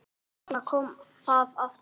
Og þarna kom það aftur!